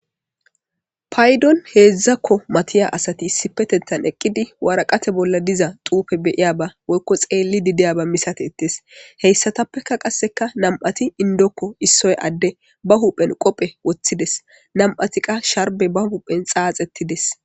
Paydion heedzdzako matiya asati issipetettan eqqidi waraqate bolla diza xuufe be'iyaba woykko xeellidi diyaba misateetes. Heyssatappeka qasse nami'ati inddoko issoy adde ba huphen qophe woththides, nami'ati qa ba huphen sharbbe xaaxetides.